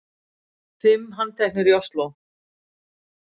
Fimm handteknir í Ósló